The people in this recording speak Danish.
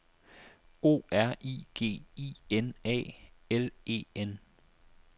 O R I G I N A L E N